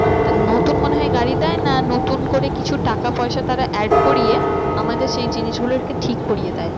নতুন মনে হয় গাড়ি দেয় না নতুন করে কিছু টাকা পয়সা তারা add করিয়ে আমাদের সেই জিনিস গুলোকে ঠিক করিয়ে দেয়।